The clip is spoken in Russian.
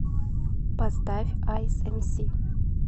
поставь айс эмси